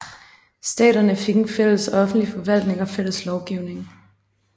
Staterne fik en fælles offentlig forvaltning og fælles lovgivning